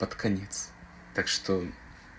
под конец так что